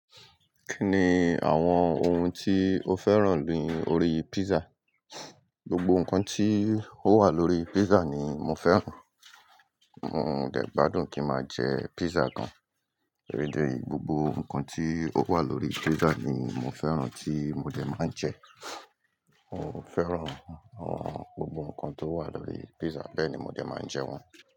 Kí ni àwọn ohun tí o fẹ́ràn ni orí pizza? Gbogbo nǹkan tí ó wà lórí pizza ni mo fẹ́ràn, mo dẹ̀ gbádùn kí máa jẹ pizza kan, torí ìdí èyí gbogbo nǹkan tí ó wà lórí pizza ni mo fẹ́ràn tí mo dẹ̀ máa ń jẹ. Mo fẹ́ràn àwọn gbogbo nǹkan tó wà lórí pizza, bẹ́ẹ̀ ni mo dẹ̀ máa ń jẹ wọ́n.